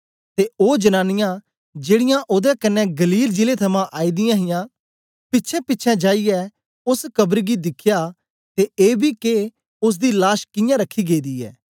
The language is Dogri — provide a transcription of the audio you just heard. ते ओ जनांनीयां जेड़ीयां ओदे कन्ने गलील जिले थमां आई दियां हां पिछेंपिछें जाईयै ओस कब्र गी दिखया ते एबी के ओसदी लाश कियां रखी गेदी ऐ